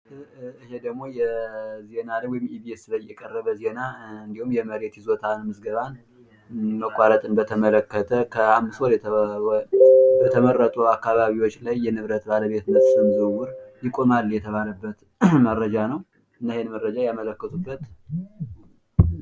በምስሉ ላይ በኢቢኤስ ቲቪ የቀረበ የመሬት ይዞታ ምዝገባ መቋረጥን በተመለከተ የቀረበ ዘገባ ነው።